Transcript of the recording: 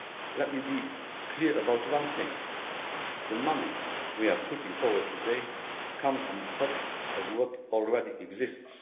Let me be clear about one thing the money we are putting forward today comes on top of what already exists.